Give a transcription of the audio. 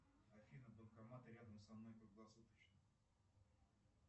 афина банкоматы рядом со мной круглосуточные